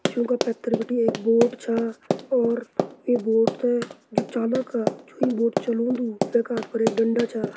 जू का पैथर बिटि एक बोट छा और वै बोट ता जू चालक जू ये बोट चलोंदु वै का हाथ मा एक डंडा छा।